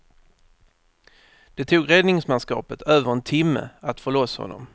Det tog räddningsmanskapet över en timme att få loss honom.